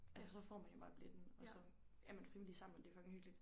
Altså så får man jo bare billetten og så er man frivillig sammen men det er fucking hyggeligt